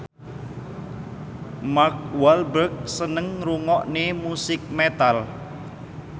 Mark Walberg seneng ngrungokne musik metal